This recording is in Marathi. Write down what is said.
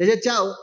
ला.